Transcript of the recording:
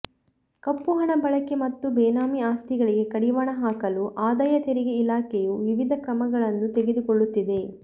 ಕಪ್ಪುಹಣ ಬಳಕೆ ಮತ್ತು ಬೇನಾಮಿ ಆಸ್ತಿಗಳಿಗೆ ಕಡಿವಾಣ ಹಾಕಲು ಆದಾಯ ತೆರಿಗೆ ಇಲಾಖೆಯು ವಿವಿಧ ಕ್ರಮಗಳನ್ನು ತೆಗೆದುಕೊಳ್ಳುತ್ತಿದೆ